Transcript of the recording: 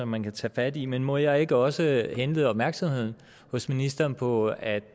man kan tage fat i men må jeg ikke også henlede opmærksomheden hos ministeren på at